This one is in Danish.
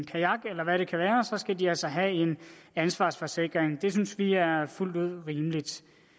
kajak eller hvad det kan være skal de altså have en ansvarsforsikring det synes vi er fuldt ud rimeligt